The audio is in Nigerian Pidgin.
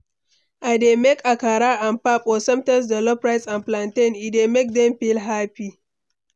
i dey make akara and pap, or sometimes jollof rice and plantain, e dey make dem feel happy.